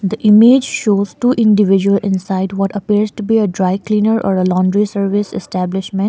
the image shows two individual inside what appears to be a dry cleaner or a laundry service establishment.